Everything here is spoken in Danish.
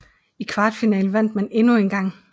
I kvartfinalen vandt man endnu en gang